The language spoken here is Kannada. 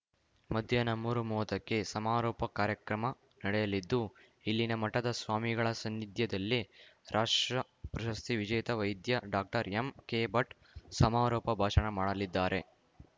ಮಧ್ಯಾಹ್ನ ಮೂರುಮೂವತ್ತಕ್ಕೆ ಸಮಾರೋಪ ಕಾರ್ಯಕ್ರಮ ನಡೆಯಲಿದ್ದು ಇಲ್ಲಿನ ಮಠದ ಸ್ವಾಮಿಗಳ ಸಾನ್ನಿಧ್ಯದಲ್ಲಿ ರಾಷ್ಟ್ರ ಪ್ರಶಸ್ತಿ ವಿಜೇತ ವೈದ್ಯ ಡಾಕ್ಟರ್ಎಂಕೆಭಟ್‌ ಸಮಾರೋಪ ಭಾಷಣ ಮಾಡಲಿದ್ದಾರೆ